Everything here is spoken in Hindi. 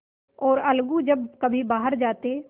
और अलगू जब कभी बाहर जाते